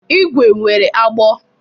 ígwè nwere agbụ.